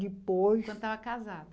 Depois. Quando estava casada.